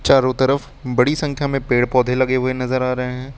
चारों तरफ बड़ी संख्या में पेड़ पौधे लगे हुए नजर आ रहे हैं।